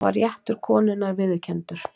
þar var réttur konunnar viðurkenndur